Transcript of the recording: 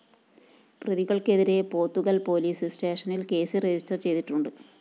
പ്രതികള്‍ക്കെതിരെ Pothukal‍ police സ്‌റ്റേഷനില്‍ case register ചെയ്തിട്ടുണ്ട്